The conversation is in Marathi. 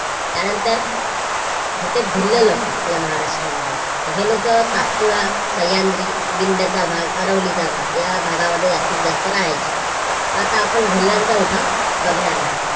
त्यानंतर होते भिल्ल लोक आपल्या महाराष्ट्रामध्ये तर हे लोक सातपुडा, सह्याद्री, विंध्य चा भाग अरवली चा भाग या भागांमध्ये जास्तीत जास्त राहायचे. तर आता आपण भिल्लांचा उठाव बघणार आहोत.